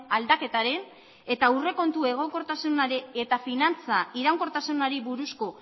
aldaketaren eta aurrekontu egonkortasunaren eta finantza iraunkortasunari buruzko